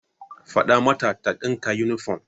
Fada mata ta dinka yunifom.